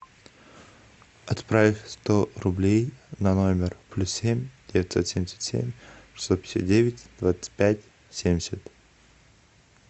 отправь сто рублей на номер плюс семь девятьсот семьдесят семь шестьсот пятьдесят девять двадцать пять семьдесят